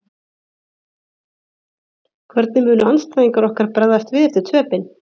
Hvernig munu andstæðingar okkar bregðast við eftir töpin?